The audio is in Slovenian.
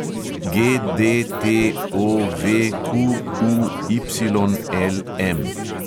GDTOVQUYLM